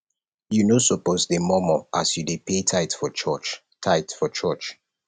you no suppose dey murmur as you dey payy tithe for church tithe for church